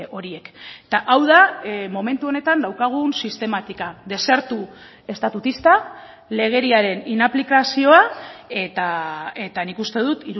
horiek eta hau da momentu honetan daukagun sistematika desertu estatutista legediaren inaplikazioa eta nik uste dut